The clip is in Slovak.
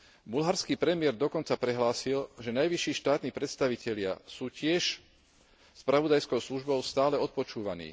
Bulharský premiér dokonca prehlásil, že najvyšší štátni predstavitelia sú tiež spravodajskou službou stále odpočúvaní.